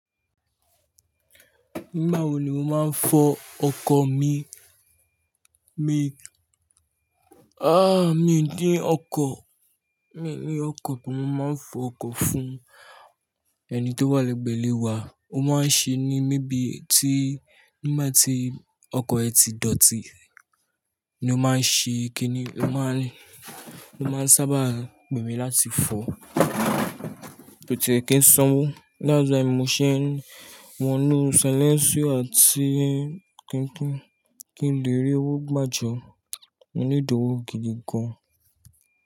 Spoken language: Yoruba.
Nígbà wo ni mo máa ń fọ– ọkọ̀ mi? Mi, —ah, mii din ọkọ̀. Mii ní ọkọ̀ bo mo máa ń fọ ọkọ̀ fún —ẹni tó wà lẹ́gbẹ̀ẹ́ ilé wa. Ó máa ń ṣe ní mebíi tí, nígbà tí ọkọ̀ ẹ ti dọ̀tí— ni o máa ń ṣe kíni, o máa ń sábà pemi láti fọ. Ko tiè kín sanwó, —dai wai mo ṣé wọnú salẹńsìo àti –kí n —kí n lè rí owó gbàjọ. Mo nídi òwó gidi gan.